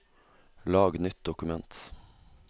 lag nytt dokument